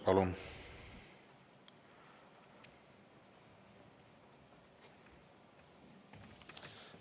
Palun!